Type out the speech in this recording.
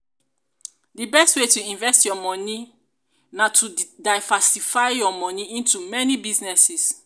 di best way to invest your money money na to diversify your money into many businesses.